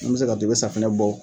Min bɛ se ka to i bɛ safinɛ bɔ